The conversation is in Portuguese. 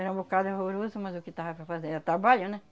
Era um bocado horroroso, mas o que dava para fazer era trabalho, né?